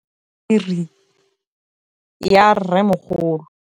Ke bone boputswa jwa meriri ya rrêmogolo.